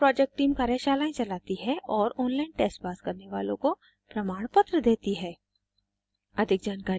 spoken tutorial project team कार्यशालाएं चलाती है और online test pass करने वालों को प्रमाणपत्र देती है